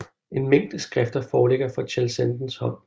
En mængde skrifter foreligger fra Cheseldens hånd